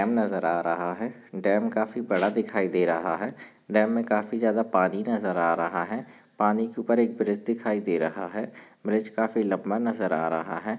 Dam नजर आ रहा है डैम काफी बडा दिखाई दे रहा है डैम में काफी ज़्यादा पानी नजर आ रहा है पानी के ऊपर एक ब्रिज दिखाई दे रहा है ब्रिज काफी लम्बा नज़र आ रहा है।